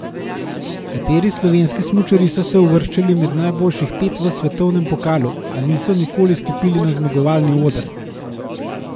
Kateri slovenski smučarji so se uvrščali med najboljših pet v svetovnem pokalu, a niso nikoli stopili na zmagovalni oder?